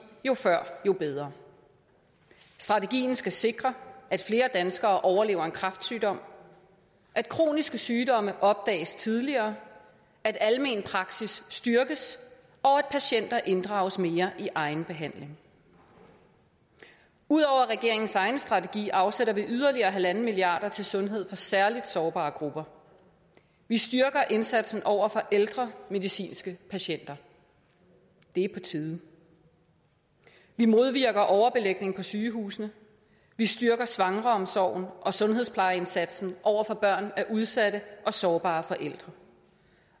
jo før jo bedre strategien skal sikre at flere danskere overlever en kræftsygdom at kroniske sygdomme opdages tidligere at almenpraksis styrkes og at patienter inddrages mere i egen behandling ud over regeringens egen strategi afsætter vi yderligere en milliard kroner til sundhed for særligt sårbare grupper vi styrker indsatsen over for ældre medicinske patienter det er på tide vi modvirker overbelægning på sygehusene vi styrker svangreomsorgen og sundhedsplejeindsatsen over for børn af udsatte og sårbare forældre